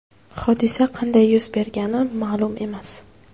Hodisa qanday yuz bergani ma’lum emas.